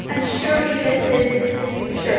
Surely this is the future.